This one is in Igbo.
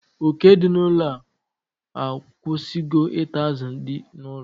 Oke dị n'ụlọ a akwụsịgo ita azụ dị n'ụlọ